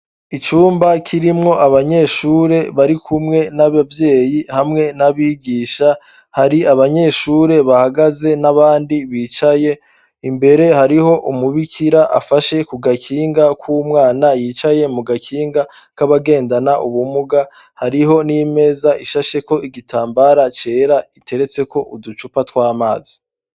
Icumba kirimwo abanyeshure bari kumwe n'abavyeyi hamwe n'abigisha hari abanyeshure bahagaze n'abandi bicaye imbere hariho umubikira afashe ku gakinga k'umwana yicaye mu gakinga k'abagendana ubumuga hariho n'imeza ishasheko igitambara cera iteretseko uducupa twamazi.